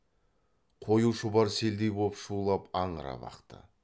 қою шұбар селдей боп шулап аңырап ақты